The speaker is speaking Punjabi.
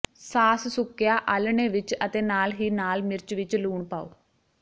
ਸਾਸ ਸੁੱਕਿਆ ਆਲ੍ਹਣੇ ਵਿਚ ਅਤੇ ਨਾਲ ਹੀ ਨਾਲ ਮਿਰਚ ਵਿਚ ਲੂਣ ਪਾਓ